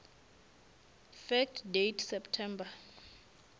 fact date september